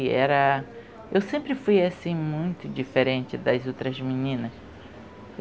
E era eu sempre fui muito diferente das outras meninas.